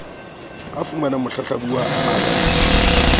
a fumanang mohlahlabuwa a arabile